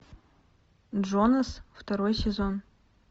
джонас второй сезон